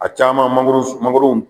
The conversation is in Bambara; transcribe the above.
A caaman mangoros mangoro m